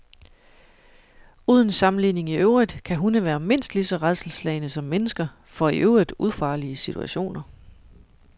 Uden sammenligning i øvrigt kan hunde være mindst lige så rædselsslagne som mennesker for i øvrigt ufarlige situationer.